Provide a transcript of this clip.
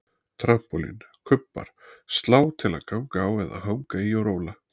Trampólín, kubbar, slá til að ganga á eða hanga í og róla